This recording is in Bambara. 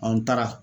An taara